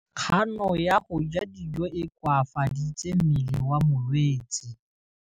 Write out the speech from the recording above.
Kganô ya go ja dijo e koafaditse mmele wa molwetse.